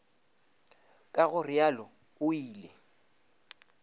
ka go realo o ile